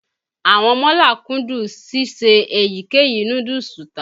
Àwọn mọ́là kúndùn síse èyíkéyìí núdúùsù tà.